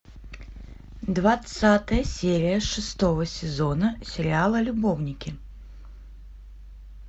двадцатая серия шестого сезона сериала любовники